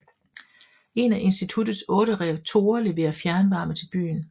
En af institutets otte reaktorer leverer fjernvarme til byen